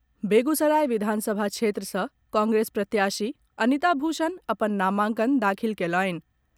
बेगूसराय विधानसभा क्षेत्र सँ कांग्रेस प्रत्याशी अनिता भूषण अपन नामांकन दाखिल कयलनि।